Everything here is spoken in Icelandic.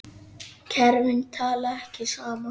Kerfin tala ekki saman.